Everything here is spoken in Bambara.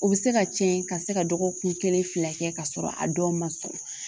O bɛ se ka tiɲɛ ka se ka dɔgɔkun kelen fila kɛ ka sɔrɔ a dɔw ma sɔn